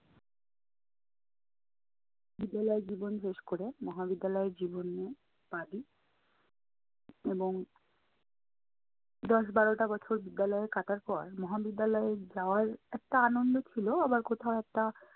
বিদ্যালয় জীবন শেষ করে মহাবিদ্যালয়ের জীবনে পা দিই এবং দশ বারোটা বছর বিদ্যালয়ে কাটার পর মহাবিদ্যালয়ে যাওয়ার একটা আনন্দ ছিলো আবার কোথাও একটা